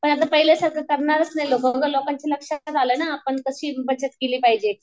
पण आता पहिले सारखं करणारच नाही लोकं लोकांच्या लक्षात आलं ना आपण कशी बचत केली पाहिजे.